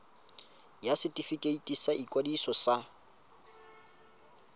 ya setefikeiti sa ikwadiso ya